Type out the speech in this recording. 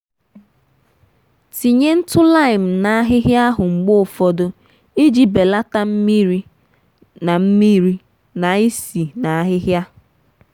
tinye ntụ laimu n’ahịhịa ahụ mgbe ụfọdụ iji belata mmiri na mmiri na isi na ahịhịa.